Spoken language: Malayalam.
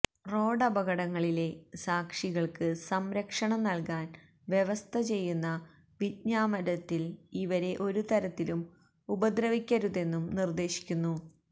റോഡപകടങ്ങളിലെ സാക്ഷികള്ക്ക് സംരക്ഷണം നല്കാന് വ്യവസ്ഥ ചെയ്യുന്ന വിജ്ഞാപനത്തില് ഇവരെ ഒരു തരത്തിലും ഉപദ്രവിക്കരുതെന്നും നിര്ദ്ദേശിക്കുന്നു